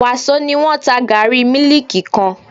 Wàsó ni wọ́n ta gààrí mílíkì kan